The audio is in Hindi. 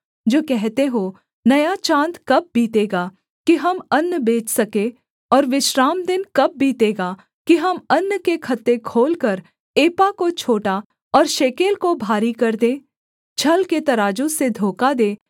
जो कहते हो नया चाँद कब बीतेगा कि हम अन्न बेच सके और विश्रामदिन कब बीतेगा कि हम अन्न के खत्ते खोलकर एपा को छोटा और शेकेल को भारी कर दें छल के तराजू से धोखा दे